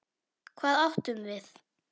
Hvað átum við?